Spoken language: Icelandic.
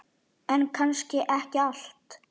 En kannski ekki allt.